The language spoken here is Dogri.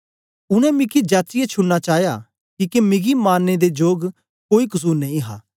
उनै मिकी जाचियै छुड़ना चाया किके मिगी मारने दे जोग कोई कसुर नेई हा